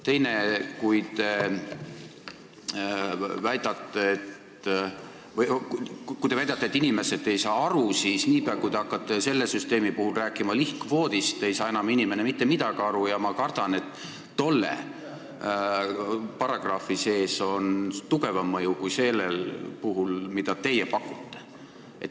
Teiseks, kui te väidate, et inimesed ei saa aru, siis niipea, kui te hakkate selle süsteemi puhul rääkima lihtkvoodist, ei saa inimene enam mitte midagi aru ja ma kardan, et tolle paragrahvi sees on tugevam mõju kui sellel puhul, mida teie pakute.